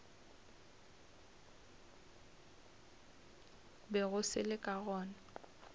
bego se le ka gona